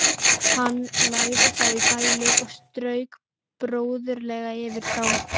Hann lagði þá í bælið og strauk bróðurlega yfir þá.